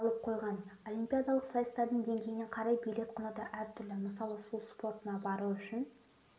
алып қойған олимпиадалық сайыстардың деңгейіне қарай билет құны да әртүрлі мысалы су спортына бару үшін